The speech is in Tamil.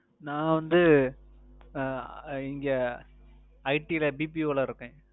நான் வந்து அஹ் இங்க IT ல BPO ல இருக்கேன்றேன்